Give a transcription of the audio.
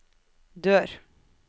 dør